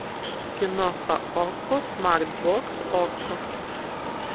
киноха окко смарт бокс окко